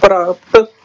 ਪ੍ਰਾਪਤ